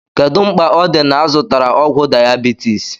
Kedu mkpa o di na -azụtara ọgwụ diabeities?